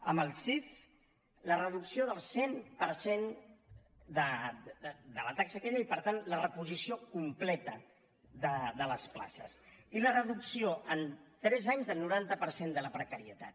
amb el csic la reducció del cent per cent de la taxa aquella i per tant la reposició completa de les places i la reducció en tres anys del noranta per cent de la precarietat